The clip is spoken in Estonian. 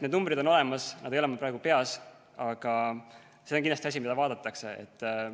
Need numbrid on olemas, nad ei ole mul praegu peas, aga see on kindlasti asi, mida vaadatakse.